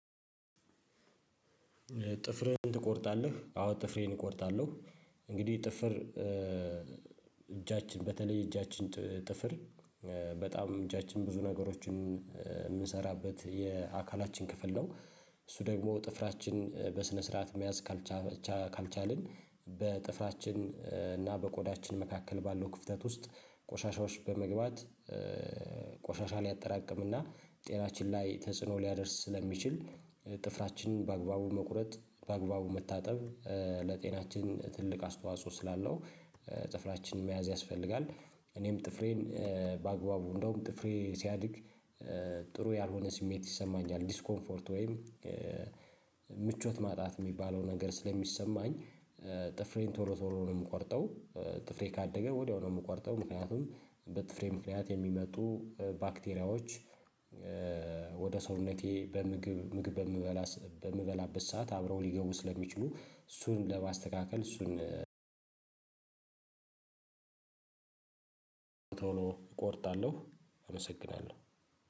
ጥፍሬን ትቆርጣለህ? አዎ ጥፍሬን እቆርጣለሁ እንግዲህ ጥፍር እጃችን በተለይ እጃችን ጥፍር በጣም እጃችን ብዙ ነገሮችን እምንሰራበት የአካላችን ክፍል ነው። እሱ ደግሞ ጥፍራችን በስነ ስርዓት መያዝ ካልቻልን ካልቻልን በጥፍራችን እና በቆዳችን መካከል ባለው ክፍተት ውስጥ ቆሻሻዎች በመግባት ቆሻሻ ሊያጠራቅም እና ጤናችን ላይ ተጽዕኖ ሊያደርስ ስለሚችል ጥፍራችንን በአግባቡ መቁረጥ በአግባቡ መታጠብ ለጤናችን ትልቅ አስተዋጽኦ ስላለው ጥፍራችንን መያዝ ያስፈልጋል። እኔም ጥፍሬን በአግባቡ እንደውም ጥፍሬ ሲያድግ ጥሩ ያልሆነ ስሜት ይሰማኛል ዲስኮምፎርት ወይም ምቾት ማጣት የሚባለው ነገር ስለሚሰማኝ። ጥፍሬን ቶሎ ቶሎ ነው የምቆርጠው ጥፍሬ ካደገ ወዲያው ነው የምቆርጠው ምክንያቱም በጥፍሬ ምክንያት የሚመጡ ባክቴሪያዎች ወደ ሰውነቴ በምግብ ምግብ በምበላበት ሰዓት አብረው ሊገቡ ስለሚችሉ እሱን ለማስተካከል እሱን ቶሎ እቆርጣለሁ። እመሰግናለሁ